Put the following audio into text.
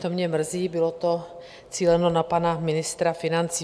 To mě mrzí, bylo to cíleno na pana ministra financí.